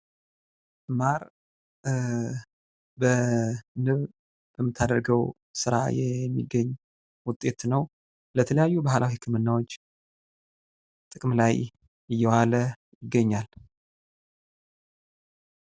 ማር ንብ በምታደርገው ስራ የሚገኝ ውጤት ነው። ለተለያዩ ባህላዊ ህክምናዎች ጥቅም ላይ እየዋለ ይገኛል።